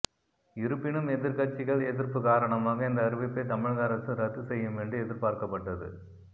இருப்பினும் எதிர்க்கட்சிகள் எதிர்ப்பு காரணமாக இந்த அறிவிப்பை தமிழக அரசு ரத்து செய்யும் என்று எதிர்பார்க்கப்பட்டது